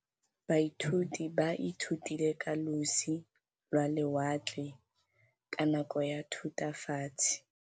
Baithuti ba ithutile ka losi lwa lewatle ka nako ya Thutafatshe.